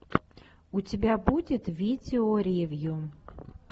у тебя будет видео ревью